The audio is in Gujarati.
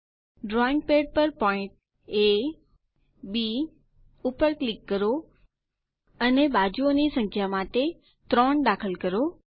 drawing pad point A B પર ક્લિક કરો અને બાજુઓ ની સંખ્યા માટે 3 દાખલ કરો